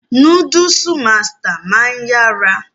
Núdúùsù masters máa ń yára